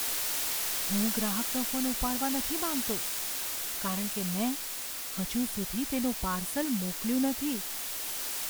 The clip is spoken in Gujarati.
હું ગ્રાહકનો ફોન ઉપાડવા નથી માંગતો, કારણ કે મેં હજુ સુધી તેનું પાર્સલ મોકલ્યું નથી.